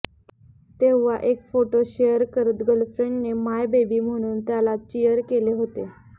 तेव्हा एक photo share करत गर्लफ्रेंडने माय बेबी म्हणून त्याला चिअर केले होते